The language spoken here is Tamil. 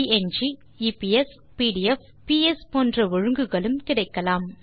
ப்ங் eps pdf பிஎஸ் போன்ற ஒழுங்குகளும் கிடைக்கலாம்